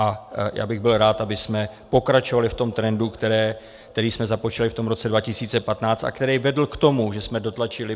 A já bych byl rád, abychom pokračovali v tom trendu, který jsme započali v tom roce 2015 a který vedl k tomu, že jsme dotlačili